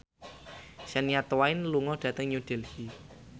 Shania Twain lunga dhateng New Delhi